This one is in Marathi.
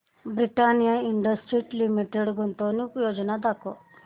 ब्रिटानिया इंडस्ट्रीज लिमिटेड गुंतवणूक योजना दाखव